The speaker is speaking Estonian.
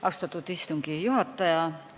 Austatud istungi juhataja!